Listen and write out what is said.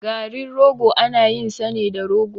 Garin rogo ana yin sa ne da rogo.